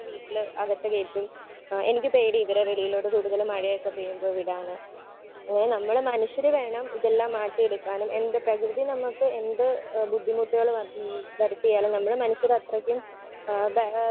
Speaker 1 വീട്ടിൽ അകത്തു കയറ്റും. ഏഹ് എനിക്ക് പേടിയാ ഇവരെ വെളിയിലോട്ട് കൂടുതൽ മഴയൊക്കെ പെയ്യുമ്പോ വിടാന്. ഏഹ് നമ്മള് മനുഷ്യര് വേണം ഇതെല്ലാം മാറ്റിയെടുക്കാനും എന്ത് പ്രകൃതി നമുക്ക് എന്ത് ബുദ്ധിമുട്ടുകള് ഏഹ് ഹ്മ് വരുത്തിയാലും നമ്മള് മനുഷ്യര് അത്രക്കും ആഹ് ബല